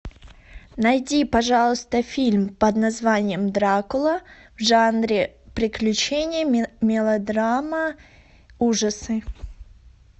найди пожалуйста фильм под названием дракула в жанре приключения мелодрама ужасы